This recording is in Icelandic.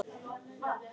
Og brosti!